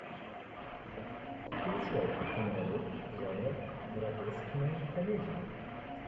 включай киноработу жанра гротескная комедия